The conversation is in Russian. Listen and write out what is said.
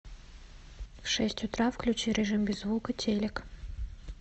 в шесть утра включи режим без звука телик